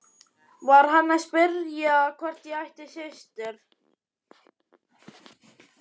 Var hann að spyrja hvort ég ætti systur?